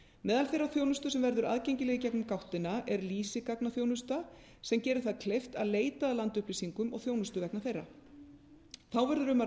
meðal þeirrar þjónustu sem verður aðgengileg í gegnum gáttina er lýsigagnaþjónusta sem gerir það kleift að leita að landupplýsingum og þjónustu vegna þeirra þá verður um að